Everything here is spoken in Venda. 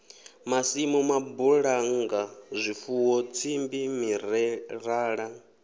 masimu mabulannga zwifuwo tsimbi mirerala